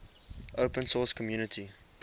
open source community